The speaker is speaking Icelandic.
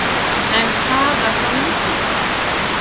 En hvað var þá mikilvægt?